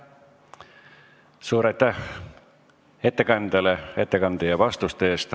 Suur aitäh ettekandjale ettekande ja vastuste eest!